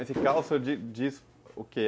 Esse caos, o senhor diz diz o quê?